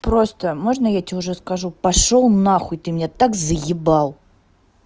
просто можно я тебе уже скажу пошёл нахуй ты меня так заебал